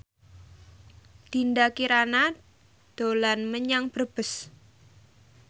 Dinda Kirana dolan menyang Brebes